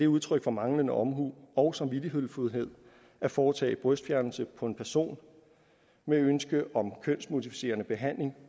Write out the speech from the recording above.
udtryk for manglende omhu og samvittighedsfuldhed at foretage brystfjernelse på en person med ønske om kønsmodificerende behandling